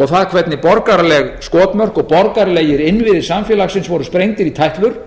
og það hvernig borgaraleg skotmörk og borgaralegir innviðir samfélagsins voru sprengdir í tætlur